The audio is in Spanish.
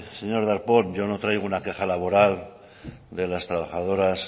señor darpon yo no traigo una queja laboral de los trabajadoras